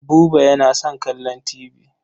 Buba yana son kallon tibi.